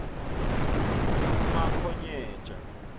umakhonyeja